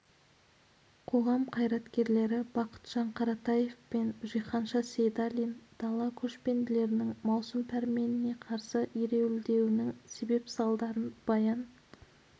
қоғам қайраткерлері бақытжан қаратаев пен жиһанша сейдалин дала көшпенділерінің маусым пәрменіне қарсы ереуілдеуінің себеп-салдарларын баян